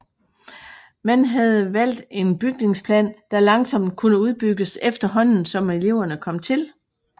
Man havde valgt en bygningsplan der langsomt kunne udbygges efterhånden som eleverne kom til